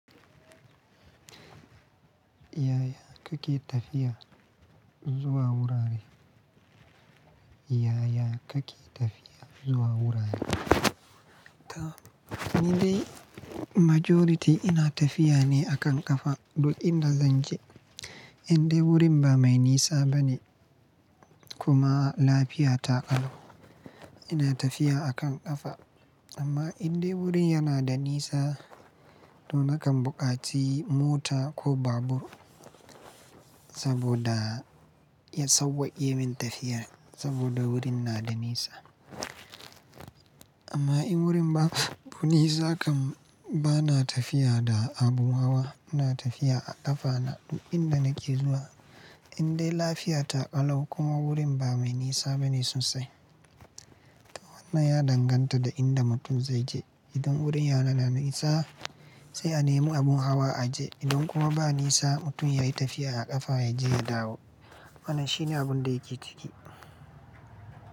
Yaya kake tafiya zuwa wurare? Yaya kake tafiya zuwa wurare? To, ni dai majority ina tafiya ne a kan ƙafa duk inda zan je. Indai wurin ba mai nisa bane kuma lafiya ta ƙalau, ina tafiya a kan ƙafa. Amma indai wurin yana da nisa, to na kan buƙaci mota ko babur saboda ya sauwaƙe min tafiyar saboda wurin na da nisa. Amma in wurin ba bu nisa kan bana tafiya da abun hawa, ina tafiya a ƙafana duk inda nake zuwa indai lafiya ta ƙalau kuma wurin ba mai nisa bane sosai. To wannan ya danganta da inda mutum zai je. Idan wurin yana da nisa sai a nemi abun hawa a je. Idan kuma ba nisa, mutum yayi tafiya a ƙafa yaje, ya dawo. Wannan shine abun da yake ciki.